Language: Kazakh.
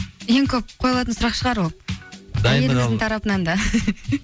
ең көп қойылатын сұрақ шығар ол тарапынан да